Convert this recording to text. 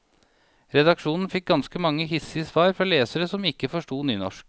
Redaksjonen fikk ganske mange hissige svar fra lesere som ikke forstod nynorsk.